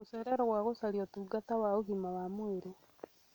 Gũcererwo kwa gũcaria ũtungata wa ũgima wa mwĩrĩ